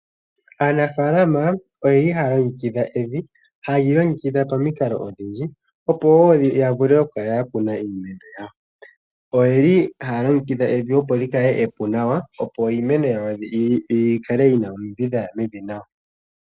Aanafaalama oyeli haya longekidha evi, haye li longekidha pomikalo odhindji opo woo ya vule oku kala yakuna iimeno yawo. Oyeli haya longekidha evi opo li kale epu nawa, opo iimeno yawo yi kale yina omidhi dhaya mevi nawa.